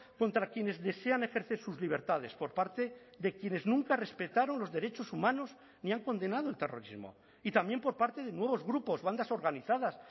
contra quienes desean ejercer sus libertades por parte de quienes nunca respetaron los derechos humanos ni han condenado el terrorismo y también por parte de nuevos grupos bandas organizadas